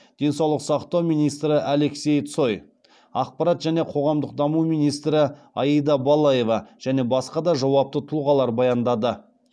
денсаулық сақтау министрі алексей цой ақпарат және қоғамдық даму министрі аида балаева және басқа да жауапты тұлғалар баяндады